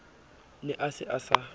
ne a se a sa